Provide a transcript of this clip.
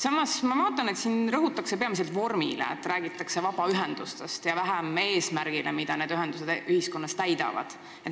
Samas ma vaatan, et siin rõhutakse peamiselt vormile, räägitakse vabaühendustest, ja vähem eesmärgile, mida need ühendused ühiskonnas täidavad.